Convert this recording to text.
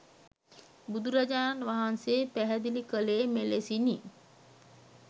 බුදුරජාණන් වහන්සේ පැහැදිලි කළේ මෙලෙසිනි.